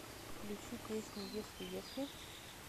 включи песню если если